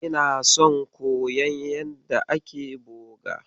Ina son koyon yanda ake boga.